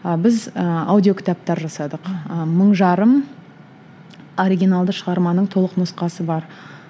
ы біз ы аудио кітаптар жасадық ы мың жарым оригиналды шығарманың толық нұсқасы бар